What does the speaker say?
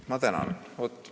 Ma tänan!